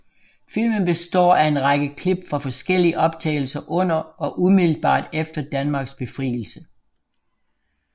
Filmen består af en række klip fra forskellige optagelser under og umiddelbart efter Danmarks befrielse